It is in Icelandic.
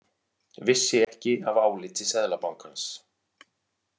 Vissi ekki af áliti Seðlabankans